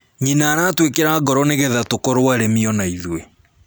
Nyina aratwĩkĩra ngoro nĩgetha tũkorũo arĩmi ona ithuĩ